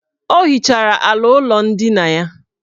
O hichara ala ụlọ ndina ya.